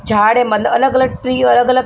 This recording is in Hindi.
झाड़े मतलब अलग अलग ट्री अलग अलग--